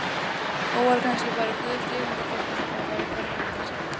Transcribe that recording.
Og voru kannski bara guðs lifandi fegnir að það væri farið heim til sín.